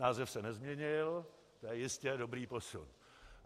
Název se nezměnil, to je jistě dobrý posun.